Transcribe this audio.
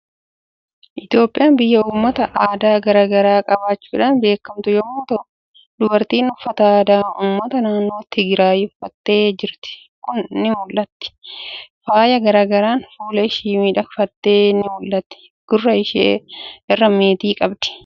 Itoophiyaan biyya uummata aadaa garaa garaa qabaachuudhaan beekamtu yommuu t'u, dubartiin uffata aadaa uummata naannoo Tigiraayi uffattee jirtu kun ni mul'atti. Faaya garaa garaan fuula ishii miidhagfattee ni mul'atti. Gurra ishee irraa meetii qabdi.